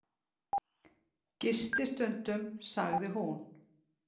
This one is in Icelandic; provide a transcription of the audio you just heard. Gisti stundum, sagði hún.